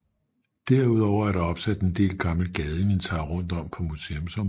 Derudover er der opsat en del gammelt gadeinventar rundt om på museumsområdet